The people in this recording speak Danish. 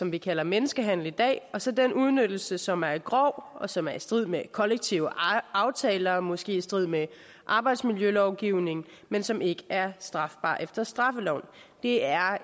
vi kalder menneskehandel i dag og så den udnyttelse som er grov og som er i strid med kollektive aftaler og måske i strid med arbejdsmiljølovgivningen men som ikke er strafbar efter straffeloven det er